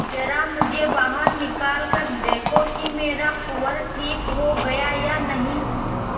जरा मुझे बाहर निकाल कर देखो कि मेरा कुंवर ठीक हो गया है या नहीं